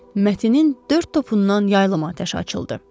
Matin dörd topundan yaylım atəşi açıldı.